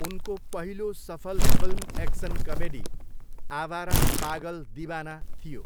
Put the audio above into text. उनको पहिलो सफल film action comedy, Awara Pagal Deewana थियो।